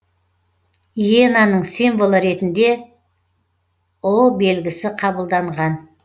иенаның символы ретінде белгісі қабылданған